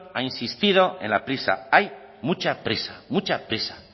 ha insistido en la prisa hay mucha prisa mucha prisa